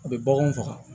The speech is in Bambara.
A bɛ baganw faga